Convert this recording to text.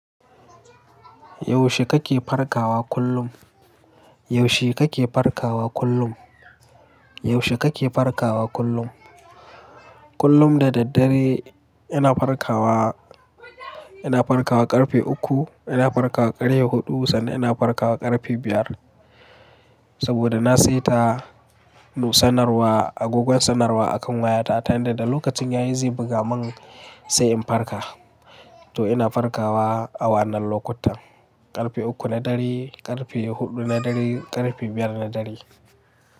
Yaushe kake farkawa kullum? Yaushe kake farkawa kullum? Yaushe kake farkawa kullum? Kullum da daddare ina farkawa, ina farkawa ƙarfe uku, ina farkawa ƙarya huɗu sannan ina farkawa ƙarfe biyar. Saboda na saita nusannarwa, agogon sanarwa akan wayata ta hanyar da lokacin yayi zai buga mun sai in farka. To ina farkawa a wannan lokutan, ƙarfe uku na dare, ƙarfe huɗu na dare, ƙarfe biyar na dare.